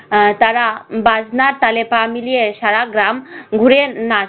আহ তারা বাজনার তালে পা মিলিয়ে সারা গ্রাম ঘুরে নাচ~